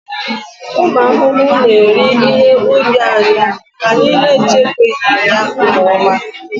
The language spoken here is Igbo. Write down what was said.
ụmụ ahụhụ na-eri ihe ubi anyị mgbe anyị na-echekwaghị ya nke ọma